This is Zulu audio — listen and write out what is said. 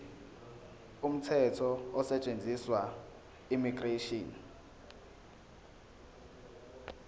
umthetho osetshenziswayo immigration